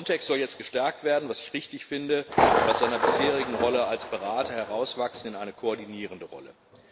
Frontex soll jetzt gestärkt werden, was ich richtig finde, und aus seiner bisherigen Rolle als Berater herauswachsen in eine koordinierende Rolle.